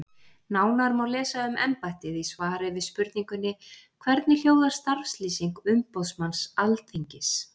Nánar má lesa um embættið í svari við spurningunni Hvernig hljóðar starfslýsing umboðsmanns Alþingis?